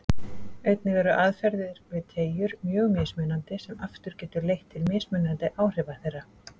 Einnig eru aðferðir við teygjur mjög mismunandi sem aftur getur leitt til mismunandi áhrifa þeirra.